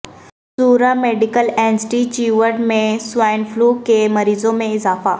Soura medical institute میں swine فلوکے مریضوں میں اضافہ